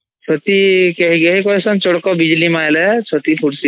ଚଡକ ବିଜଲୀ ମାରିଲେ ଛତି ଫୁରସିବନୀ